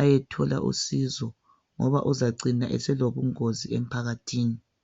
ayethola usizo ngoba uzacina selobungozi emphakathini